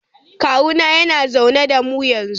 Kawuna yana zaune da mu yanzu.